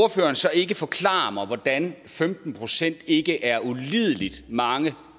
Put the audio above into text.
ordføreren så ikke forklare mig hvordan femten procent ikke er ulideligt mange